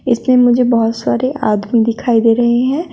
इसमें मुझे बहोत सारे आदमी दिखाई दे रहे हैं।